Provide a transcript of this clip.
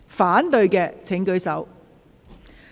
反對的請舉手。